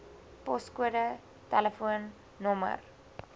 poskode tel nr